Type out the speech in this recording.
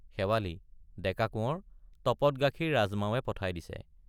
শেৱালি— ডেকা কোঁৱৰ তপত গাখীৰ ৰাজমাৱে পঠাই দিছে।